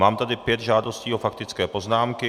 Mám tady pět žádostí o faktické poznámky.